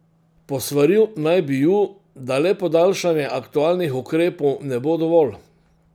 Posvaril naj bi ju, da le podaljšanje aktualnih ukrepov ne bo dovolj.